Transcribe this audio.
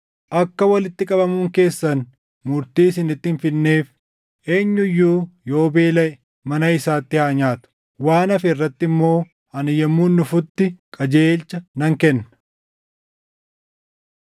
Akka walitti qabamuun keessan murtii isinitti hin fidneef eenyu iyyuu yoo beelaʼe mana isaatti haa nyaatu! Waan hafe irratti immoo ani yommuun dhufutti qajeelcha nan kenna.